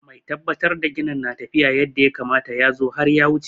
Mai tabbatar da ginin na tafiya yadda ya kamata ya zo har ya wuce.